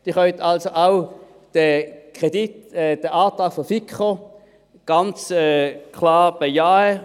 Sie können also den Antrag der FiKo, diese 2 Mio. Franken, auch ganz klar bejahen.